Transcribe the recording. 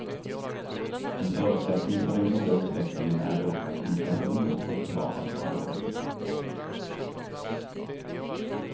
En förutsättning för den goda utvecklingen är dock att inflationen fortfar att vara låg.